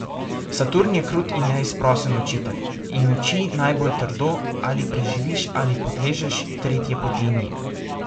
Saturn je krut in neizprosen učitelj in uči najbolj trdo, ali preživiš ali podležeš, tretje poti ni!